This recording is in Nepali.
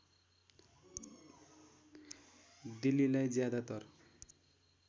दिल्लीलाई ज्यादातर